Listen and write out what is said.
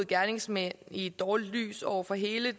gerningsmand i et dårligt lys over for hele det